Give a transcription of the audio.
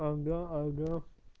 ага ага